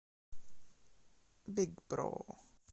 биг бро